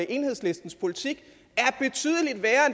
enhedslistens politik